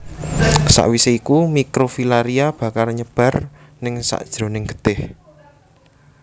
Sawisé iku mikrofilaria bakal nyebar ningsakjeroning getih